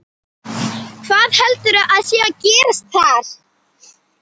Hvað heldurðu að sé að gerast þar?